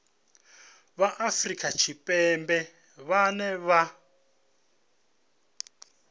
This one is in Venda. vha afrika tshipembe vhane vha